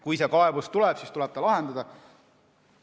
Kui see kaebus tuleb, siis tuleb see lahendada.